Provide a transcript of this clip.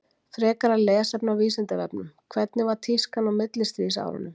Frekara lesefni á Vísindavefnum: Hvernig var tískan á millistríðsárunum?